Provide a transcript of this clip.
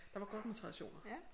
Der var godt med traditioner